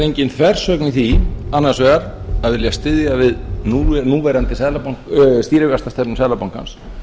engin þversögn í því annars vegar að vilja styðja við núverandi stýrivaxtastefnu seðlabankans